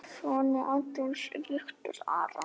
Sonur Adolfs er Viktor Aron.